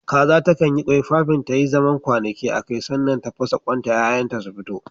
kaza takan yi ƙwai fafin ta yi zaman kwanaki akai, sannan sai ta fasa ƙwanta 'ya'yan ta su fito